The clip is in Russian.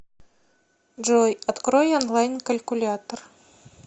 джой открой онлайн калькулятор